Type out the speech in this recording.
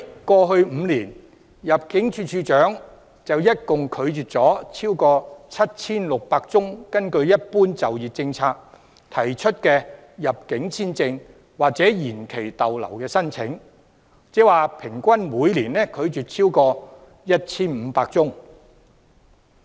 過去5年，入境處處長一共拒絕了超過 7,600 宗根據"一般就業政策"提出的入境簽證或延期逗留申請，即平均每年拒絕了超過 1,500 宗申請。